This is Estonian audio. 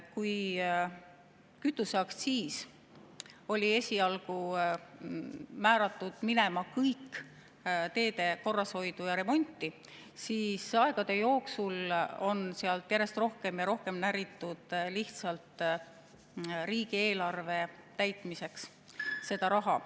Kütuseaktsiis oli esialgu määratud minema kõik teede korrashoidu ja remonti, aga aegade jooksul on sealt järjest rohkem ja rohkem näritud lihtsalt riigieelarve täitmiseks seda raha.